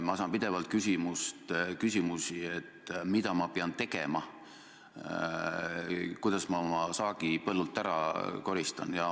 Ma saan pidevalt küsimusi, mida ma pean tegema, kuidas ma oma saagi põllult ära koristan.